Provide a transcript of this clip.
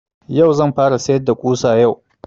Yau zan fara sayar da ƙusa yau